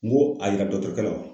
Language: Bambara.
N ko a yira dɔgɔtɔrɔkɛ la